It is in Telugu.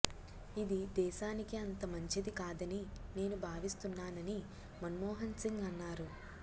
ఇది దేశానికి అంత మంచిది కాదని నేను భావిస్తున్నానని మన్మోహన్ సింగ్ అన్నారు